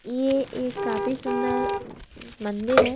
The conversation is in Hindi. ये एक काफी सुंदर मंदिर है।